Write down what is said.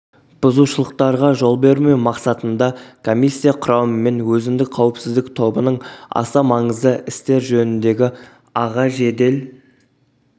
бұзушылықтарға жол бермеу мақсатында коммиссия құрамымен өзіндік қауіпсіздік тобының аса маңызды істер жөніндегі аға жедел